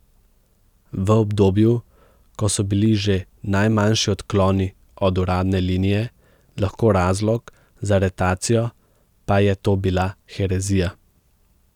V obdobju, ko so bili že najmanjši odkloni od uradne linije lahko razlog za aretacijo, pa je to bila herezija.